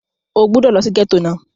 O gbúdọ̀ lọ sí gẹ́tò náà!